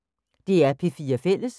DR P4 Fælles